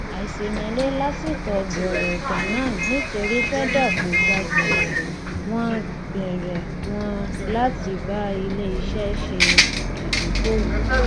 àìṣèmẹlẹ lásìkò gbòòrò ganan nítorí feda kò gba gbẹrẹ wọn gbẹrẹ wọn láti bá iléiṣẹ ṣe ìdókòòwò